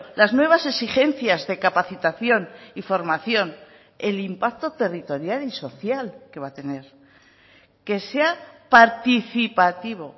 las nuevas exigencias de capacitación y formación el impacto territorial y social que va a tener que sea participativo